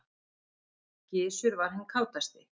Gizur var hinn kátasti.